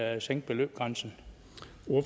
at sænke beløbsgrænsen